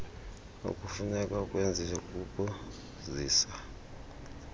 okufuneka ukwenzile kukuzisa